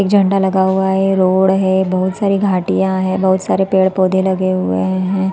एक झंडा लगा हुआ है रोड है बहुत सारी घाटियां है बहुत सारे पेड़ - पौधे लगे हुए है।